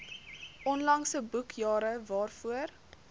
onlangse boekjare waarvoor